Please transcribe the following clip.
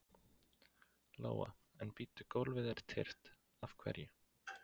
Lóa: En bíddu, gólfið er tyrft, af hverju?